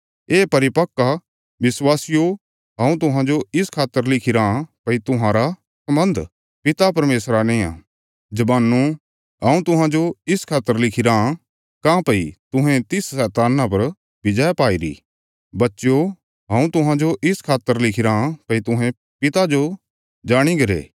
हे परिपक्व विश्वासियो हऊँ तुहांजो इस खातर लिखिराँ भई तुहांरा सम्बन्ध पिता परमेशरा नेआ जवानो हऊँ तुहांजो इस खातर लिखिराँ काँह्भई तुहें तिस शैतान्ना पर विजय पाईरी बच्चयो हऊँ तुहांजो इस खातर लिखिराँ भई तुहें पिता जो जाणीगरे